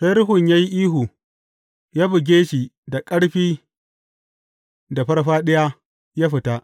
Sai ruhun ya yi ihu, ya buge shi da ƙarfi da farfaɗiya, ya fita.